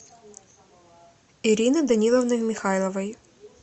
ирины даниловны михайловой